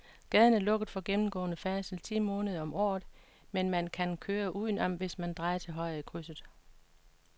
Gaden er lukket for gennemgående færdsel ti måneder om året, men man kan køre udenom, hvis man drejer til højre i krydset.